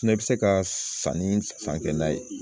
Fɛnɛ bɛ se ka sanni san kɛ n'a ye